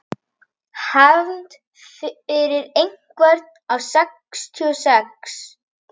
Hefnd fyrir einhvern af mínum sextíu og sex.